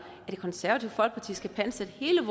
at det konservative folkeparti skal pantsætte hele